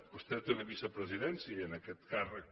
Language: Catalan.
vostè té una vicepresidència i en aquest càrrec